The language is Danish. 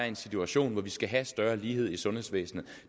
en situation hvor vi skal have større lighed i sundhedsvæsenet